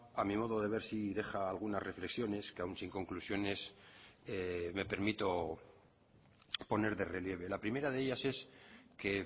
a mi modo de ver sí deja algunas reflexiones que aún sin conclusiones me permito poner de relieve la primera de ellas es que